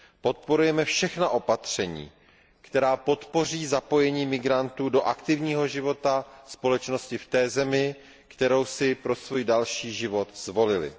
Podporujeme všechna opatření, která podpoří zapojení migrantů do aktivního života společnosti v té zemi, kterou si pro svůj další život zvolili.